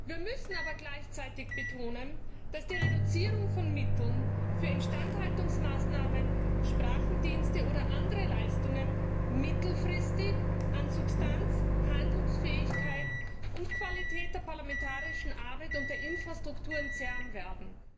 Wir müssen aber gleichzeitig betonen, dass die Reduzierung von Mitteln für Instandhaltungsmaßnahmen, Sprachendienste oder andere Leistungen mittelfristig an Substanz, Handlungsfähigkeit und Qualität der parlamentarischen Arbeit und der Infrastrukturen zehren werden.